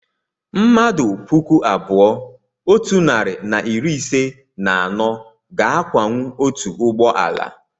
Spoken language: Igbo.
mmmadụ puku abụọ otu narị na iri ise na anọ ga-akwawu otu ụgbọ ala